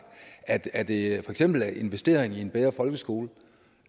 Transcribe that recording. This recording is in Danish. agt er det eksempel investeringer i en bedre folkeskole